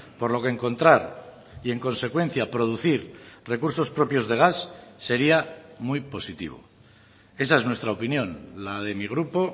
por lo que encontrar y en consecuencia producir recursos propios de gas sería muy positivo esa es nuestra opinión la de mi grupo